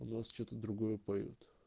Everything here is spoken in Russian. у нас что-то другое поют